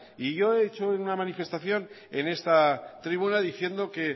y yo he hecho una manifestación en esta tribuna diciendo que